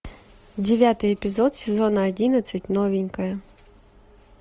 девятый эпизод сезона одиннадцать новенькая